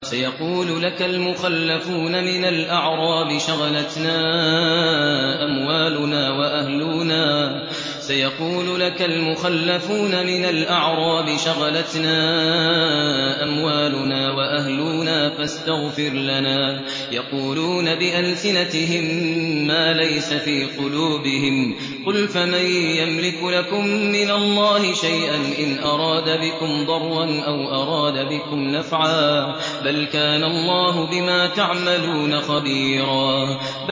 سَيَقُولُ لَكَ الْمُخَلَّفُونَ مِنَ الْأَعْرَابِ شَغَلَتْنَا أَمْوَالُنَا وَأَهْلُونَا فَاسْتَغْفِرْ لَنَا ۚ يَقُولُونَ بِأَلْسِنَتِهِم مَّا لَيْسَ فِي قُلُوبِهِمْ ۚ قُلْ فَمَن يَمْلِكُ لَكُم مِّنَ اللَّهِ شَيْئًا إِنْ أَرَادَ بِكُمْ ضَرًّا أَوْ أَرَادَ بِكُمْ نَفْعًا ۚ بَلْ كَانَ اللَّهُ بِمَا تَعْمَلُونَ خَبِيرًا